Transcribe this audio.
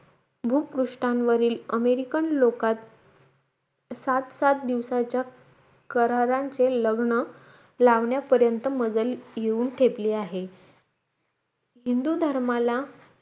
भुपुष्टांवरील American लोकात सात साथ दिवसाच्या करारात हे लग्न लावण्यापर्यंत मजल येऊन ठेपले आहेत हिंदू धर्माला